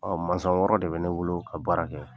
masɔn wɔɔrɔ de bɛ ne bolo ka baara kɛ.